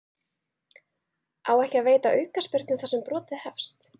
Á ekki að veita aukaspyrnu þar sem brotið hefst?